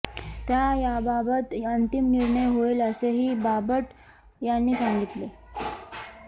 त्यात याबाबत अंतिम निर्णय होईल असेही बापट यांनी सांगितले